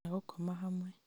kana gũkoma hamwe